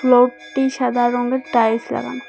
ফ্লোরটি সাদা রঙের টাইলস লাগানো।